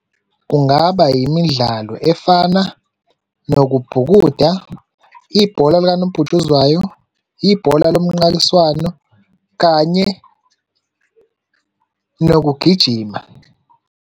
Kungaba imidlalo efana nokubhukuda, ibhola likanobhutshuzwayo, ibhola lomnqakiswano kanye nokugijima.